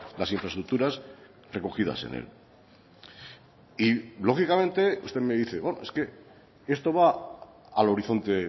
las infraestructuras recogidas en él y lógicamente usted me dice es que esto va al horizonte